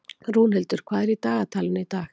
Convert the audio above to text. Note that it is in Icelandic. Rúnhildur, hvað er í dagatalinu í dag?